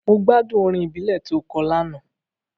Mo gbádùn orin ìbílẹ̀ to kọ lánàá.